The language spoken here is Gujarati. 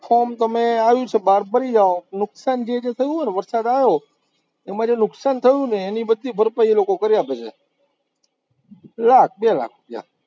form તમે આવ્યું છે, આજ ભરી જાઓ, નુકશાન જે જે થયું હોય ને વરસાદ આયો, એમાં જે નુકશાન થયું ને એની બધી ભરપાઈ એ લોકો કરી આપે છે, લાખ, બે લાખ